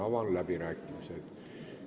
Avan läbirääkimised.